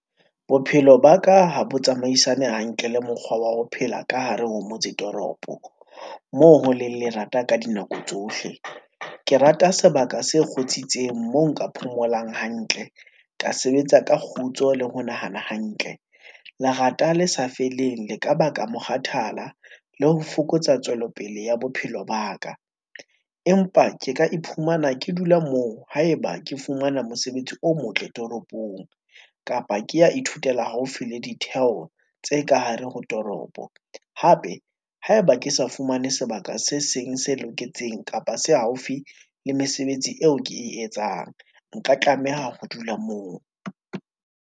Bophelo ba ka ha bo tsamaisane hantle le mokgwa wa ho phela ka hare ho motse toropo, moo ho leng lerata ka dinako tsohle. Ke rata sebaka se kgotsitseng moo nka phomolang hantle ka sebetsa ka kgutso le ho nahana hantle, lerata le sa feleng le ka baka mokgathala le ho fokotsa tswelopele ya bophelo ba ka. Empa ke ka iphumana ke dula moo haeba ke fumana mosebetsi o motle toropong, kapa ke ya ithutela haufi le ditheko tse ka hare ho toropo. Hape haeba ke sa fumane sebaka se seng se loketseng kapa se haufi le mesebetsi eo ke e etsang. Nka tlameha ho dula moo.